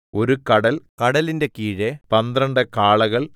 ഒരു കടൽ കടലിന്റെ കീഴെ പന്ത്രണ്ട് കാളകൾ